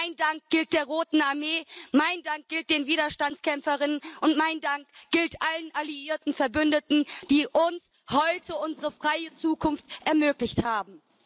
Mein Dank gilt der Roten Armee, mein Dank gilt den Widerstandskämpferinnen und kämpfern, und mein Dank gilt allen alliierten Verbündeten, die uns heute unsere freie Zukunft ermöglicht haben.